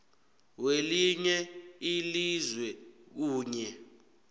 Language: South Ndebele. welinye ilizwe kunye